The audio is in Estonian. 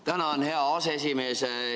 Tänan, hea aseesimees!